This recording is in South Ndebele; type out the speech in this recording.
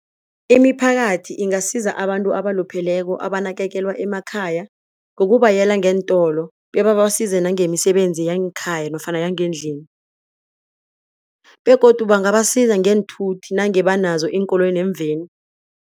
Imiphakathi ingasiza abantu abalupheleko abanakekelwa emakhaya. Ngokubayela ngeentolo bebabasize nangemisebenzi yangekhaya nofana yangendlini begodu bangabasiza ngeenthuthi nange banazo iinkoloyi neemveni.